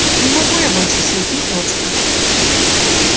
не могу я больше съесть ни крошки